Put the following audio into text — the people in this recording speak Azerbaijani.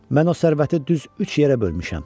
Mən o sərvəti düz üç yerə bölmüşəm.